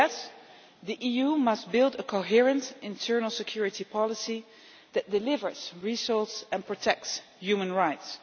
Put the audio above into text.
So yes, the EU must build a coherent internal security policy that delivers results and protects human rights.